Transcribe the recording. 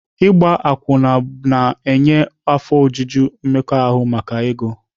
Ịgba akwụna na-enye afọ ojuju mmekọahụ maka ego.